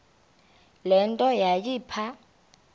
le nto yayipha